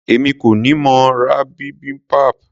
Èmi kọ́ ni mo ra bibimbap.